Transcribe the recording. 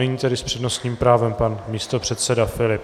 Nyní tedy s přednostním právem pan místopředseda Filip.